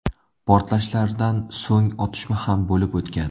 Portlashlardan so‘ng otishma ham bo‘lib o‘tgan.